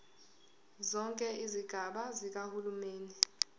zonke izigaba zikahulumeni